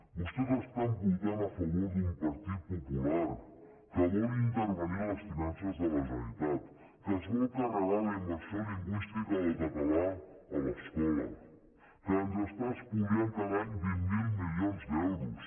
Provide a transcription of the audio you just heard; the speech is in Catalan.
vostès estan votant a favor d’un partit popular que vol intervenir les finances de la generalitat que es vol carregar la immersió lingüística del català a l’escola que ens està espoliant cada any vint miler milions d’euros